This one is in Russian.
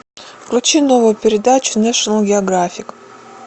включи новую передачу нэшнл географик